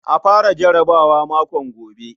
A fara jarabawa makon gobe.